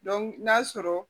n'a sɔrɔ